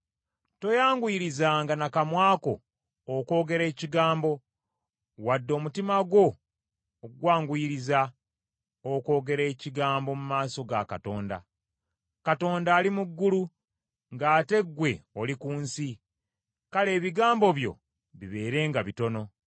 Toyanguyirizanga na kamwa ko okwogera ekigambo, wadde omutima gwo ogwanguyiriza, okwogera ekigambo mu maaso ga Katonda. Katonda ali mu ggulu ng’ate ggwe oli ku nsi; kale ebigambo byo bibeerenga bitono.